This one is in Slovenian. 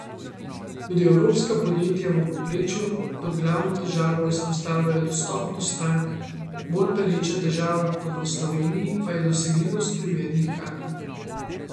Tudi evropska podjetja v povprečju kot glavno težavo izpostavljajo dostop do strank, bolj pereča težava kot v Sloveniji pa je dosegljivost primernih kadrov.